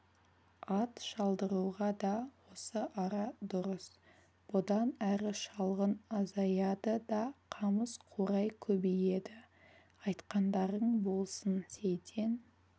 ат шалдыруға да осы ара дұрыс бұдан әрі шалғын азаяды да қамыс-қурай көбейеді айтқандарың болсын сейтен